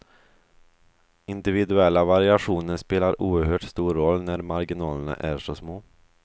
Individuella variationer spelar oerhört stor roll när marginalerna är så små.